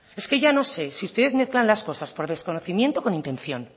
es que ya no sé si ustedes mezclan las cosas por desconocimiento o con intención